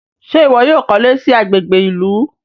Ṣe iwọ yóò kọ iley rẹ sí agbègbè ìlú?